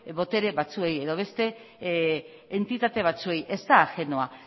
potere batzuei edo beste entitate batzuei ez da ajenoa